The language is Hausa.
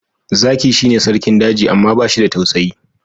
Zaki shi ne Sarkin daji amma bashi da tausayi